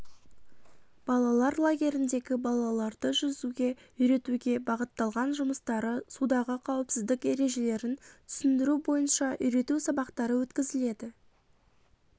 балалар лагеріндегі балаларды жүзуге үйретуге бағытталған жұмыстары судағы қауіпсіздік ережелерін түсіндіру бойынша үйрету сабақтары өткізіледі